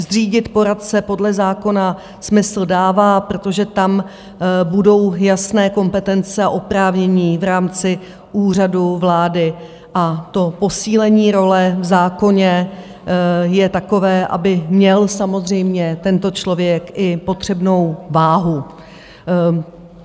Zřídit poradce podle zákona smysl dává, protože tam budou jasné kompetence a oprávnění v rámci Úřadu vlády, a to posílení role v zákoně je takové, aby měl samozřejmě tento člověk i potřebnou váhu.